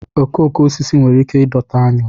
okooko osisi nwere ike ịdọta aṅụ